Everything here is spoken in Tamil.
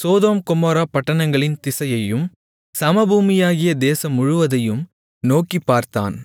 சோதோம் கொமோரா பட்டணங்களின் திசையையும் சமபூமியாகிய தேசம் முழுவதையும் நோக்கிப் பார்த்தான்